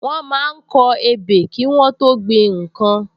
Wọ́n máa ń kọ ebè kí Wọ́n tó gbin nnkan